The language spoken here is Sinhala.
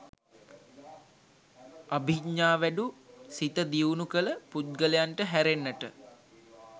අභිඥාවැඩු සිත දියුණු කළ පුද්ගලයන්ට හැරෙන්නට